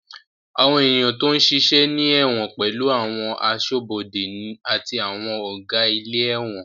Àwọn èèyàn tó ń ṣiṣẹ́ ní ẹ̀wọ̀n pẹ̀lú àwọn aṣọ́bọdè àti àwọn Ọ̀gá ilé ẹ̀wọ̀n